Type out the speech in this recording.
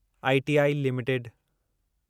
ITI limited